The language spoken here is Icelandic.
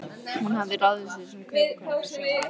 Hún hafði ráðið sig sem kaupakonu yfir sumarið.